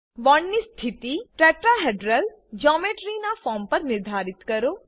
bond ની સ્થિતિ tetrahedral geometry tetrahedral geometry ના ફોર્મ પર નિર્ધારિત કરો